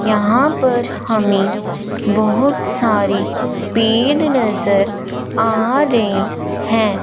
यहां पर हमें बहोत सारे पेड़ नजर आ रए हैं।